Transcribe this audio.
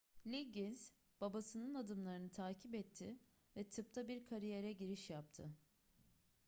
liggins babasının adımlarını takip etti ve tıpta bir kariyere giriş yaptı